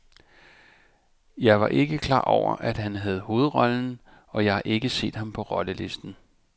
Jeg var ikke klar over, at han havde hovedrollen, og jeg har ikke set ham på rollelisten.